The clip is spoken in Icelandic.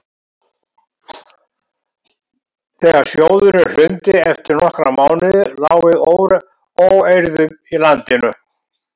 Þegar sjóðurinn hrundi eftir nokkra mánuði lá við óeirðum í landinu.